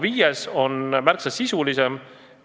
Viies ettepanek on aga märksa sisulisem.